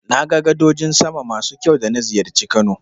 Na ga gadojin sama masu kyau da na ziyarci Kano.